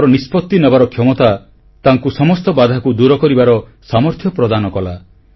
ତାଙ୍କର ନିଷ୍ପତ୍ତି ନେବାର କ୍ଷମତା ତାଙ୍କୁ ସମସ୍ତ ବାଧାକୁ ଦୂର କରିବାର ସାମର୍ଥ୍ୟ ପ୍ରଦାନ କଲା